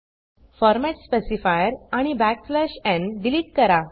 format specifier आणि n delete करा